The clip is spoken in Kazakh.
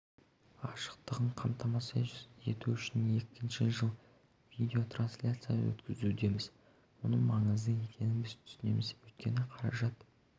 ашықтығын қамтамасыз ету үшін екінші жыл видеотрансляция өткізудеміз мұның маңызды екенін біз түсінеміз өйткені қаражат